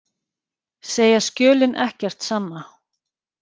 Segja skjölin ekkert sanna